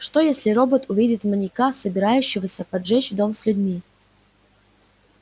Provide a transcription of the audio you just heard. что если робот увидит маньяка собирающегося поджечь дом с людьми